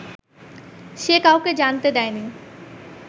সে কাউকে জানতে দেয়নি